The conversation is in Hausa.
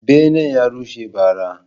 Benen ya rushe ba ra